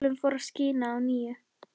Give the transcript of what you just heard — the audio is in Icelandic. Sólin fór að skína að nýju.